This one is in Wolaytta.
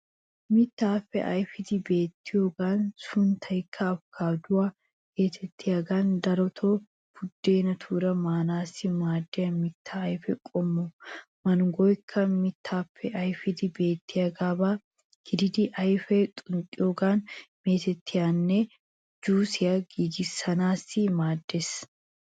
Mittaappe ayfidi beettiyogan sunttaykka afukaatuwa geetettiyogan daroto buddeenatuura maanaassi maadiya mittaa ayfe qommo. Mangoykka mittaappe ayfidi beettiyaaba gidiiddi ayfiya xunxxiyoogan meetettiyaanne jusiya giigissanaassi maaddeees.